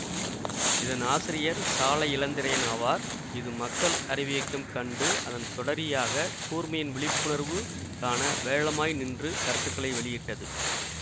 இதன் ஆசிரியர் சாலை இளந்திரையன் ஆவார் இது மக்கள் அறிவியக்கம் கண்டு அதன் தொடரியாக கூர்மையின் விழிப்புணர்வு காண வேழமாய் நின்று கருத்துக்களை வெளியிட்டது